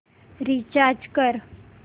recharge कर